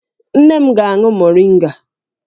Nne m ga-aṅụ moringa